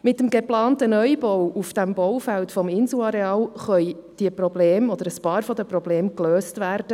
Mit dem geplanten Neubau auf dem Baufeld des Inselareals können einige dieser Probleme gelöst werden.